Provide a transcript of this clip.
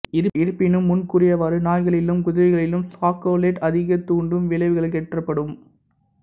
இருப்பினும் முன்கூறியவாறு நாய்களிலும் குதிரைகளிலும் சாக்கொலேட் அதிக தூண்டும் விளைவுகளேற்படுத்தும்